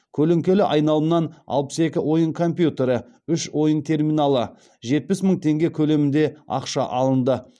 көлеңкелі айналымнан алпыс екі ойын компьютері үш ойын терминалы жетпіс мың теңге көлемінде ақша алынды